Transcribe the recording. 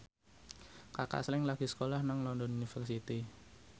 Kaka Slank lagi sekolah nang London University